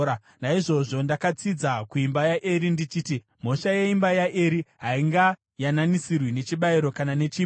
Naizvozvo ndakatsidza kuimba yaEri ndichiti, ‘Mhosva yeimba yaEri haingayananisirwi nechibayiro kana nechipo.’ ”